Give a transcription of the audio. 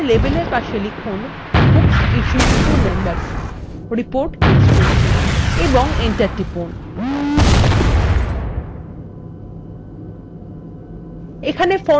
এখানে লেবেল এর পাশে লিখুন books issued to members: report history এবং enter টিপুন